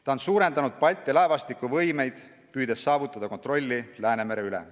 Ta on suurendanud Balti laevastiku võimeid, püüdes saavutada kontrolli Läänemere üle.